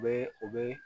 U bɛ u bɛ